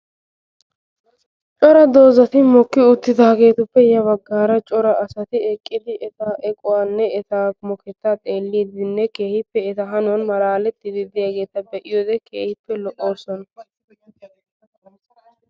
Daro dozati mokki uttidagetuppe ya baggaara cora asati eqqidi eta eqquwane eta mokketa xeelidine keehippe eta hanuwan malaaletidi deiyageta beiyode keehippe lo'osona.